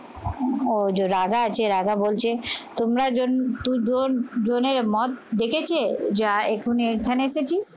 ও যো রাজা আছে, রাজা বলছে তোমরা জনের মত দেখেছে, যা এক্ষুনি এখানে এসেছিস?